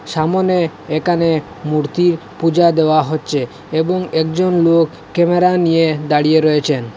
সামোনে একানে মূর্তি পূজা দেওয়া হচ্ছে এবং একজন লোক ক্যামেরা নিয়ে দাঁড়িয়ে রয়েছেন।